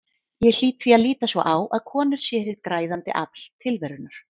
Ég hlýt því að líta svo á að konur séu hið græðandi afl tilverunnar.